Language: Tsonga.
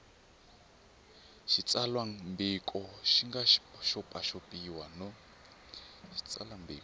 xitsalwambiko xi nga xopaxopiwa no